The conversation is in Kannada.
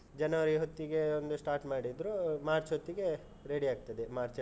ಜನವರಿ ಹೊತ್ತಿಗೆ ಒಂದು start ಮಾಡಿದ್ರು, ಮಾರ್ಚ್ ಹೊತ್ತಿಗೆ ready ಆಗ್ತದೆ, ಮಾರ್ಚ್.